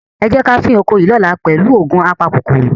Ẹ jẹ́ ká fín oko yìí lọ́la pẹ̀lú òògun apakòkòrò.